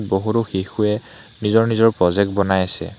বহুটো শিশুৱে নিজৰ নিজৰ প্ৰজেক্ট বনাই আছে।